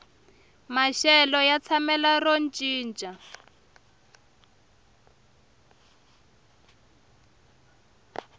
maxelo ya tshamela ro cinca